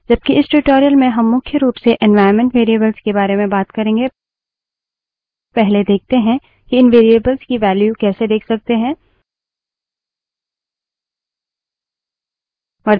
जबकि इस tutorial में हम मुख्य रूप से environment variables के बारे में बात करेंगे पहले देखते हैं कि इन variables की value कैसे let सकते हैं